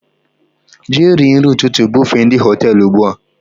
Jee rie nri ụtụtụ bufe ndị Họtelụ ugbua!